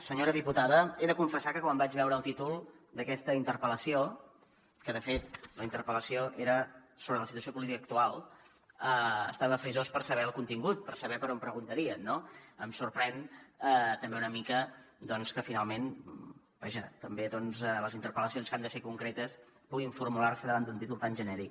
senyora diputada he de confessar que quan vaig veure el títol d’aquesta interpel·lació que de fet la interpel·lació era sobre la situació política actual estava frisós per saber ne el contingut per saber per on preguntarien no em sorprèn també una mica doncs que finalment també les interpel·lacions que han de ser concretes puguin formular se davant d’un títol tan genèric